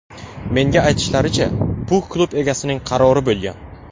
Menga aytishlaricha, bu klub egasining qarori bo‘lgan.